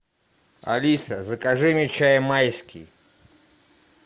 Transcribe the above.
алиса закажи мне чай майский